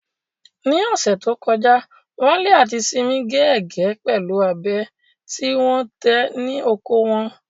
Ní ọ̀sẹ̀ tó kọjá, Wale àti Simi gé ẹ̀gẹ́ pẹ̀lú abẹ tí wọ́n tẹ̀ ní oko wọn.